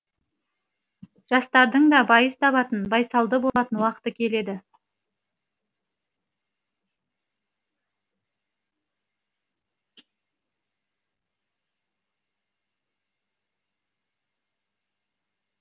жастардың да байыз табатын байсалды болатын уақыты келеді